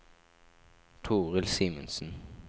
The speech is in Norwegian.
Toril Simensen